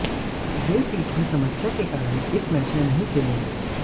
वे पीठ में समस्या के कारण इस मैच में नहीं खेलेंगे